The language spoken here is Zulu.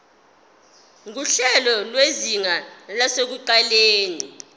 nguhlelo lwezinga lasekuqaleni